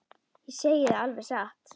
Ég segi það alveg satt.